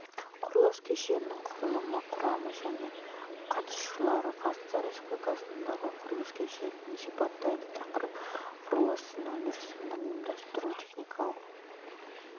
құрылыс кешенінің құрылымы құрамы және қатысушылары қазақстан республикасындағы құрылыс кешенін сипаттайды тақырып құрылыс өндірісінің ұйымдастыру техникалық